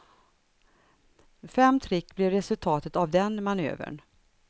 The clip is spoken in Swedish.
Fem trick blev resultatet av den manövern.